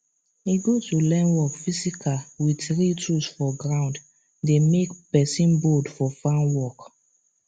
e good to learn work physical with real tools for ground dey make person bold for farm work